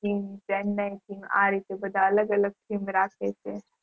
આ રીતે બધા અલગ અલગ theme રાખે છે